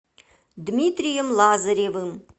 дмитрием лазаревым